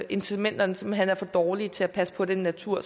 incitamenterne simpelt hen er for dårlige til at passe på den natur